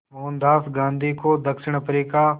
मोहनदास गांधी को दक्षिण अफ्रीका